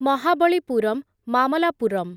Mahabalipuram Mamallapuram